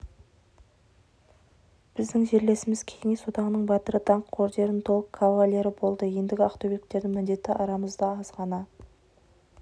біздің жерлесіміз кеңес одағының батыры даңқ орденінің толық кавалері болды ендігі ақтөбеліктердің міндеті арамызда аз ғана